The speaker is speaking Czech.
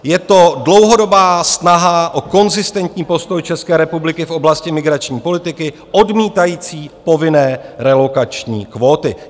Je to dlouhodobá snaha o konzistentní postoj České republiky v oblasti migrační politiky odmítající povinné relokační kvóty.